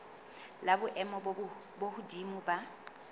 la boemo bo hodimo la